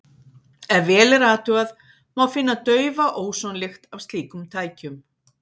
Ef vel er athugað, má finna daufa ósonlykt af slíkum tækjum.